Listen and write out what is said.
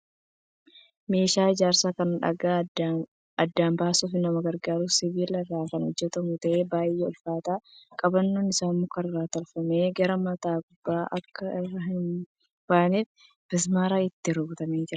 Meeshaa ijaarsaa kan dhagaa addaan baasuuf nama gargaaru. Sibiila irraa kan hojjatamu ta'ee baay'ee ulfaata. Qabannoon isaa muka irraa tolfame. Gara mataa gubbaan akka irraa hin baaneef mismaaraan itti rukutamee jira.